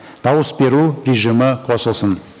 дауыс беру режимі қосылсын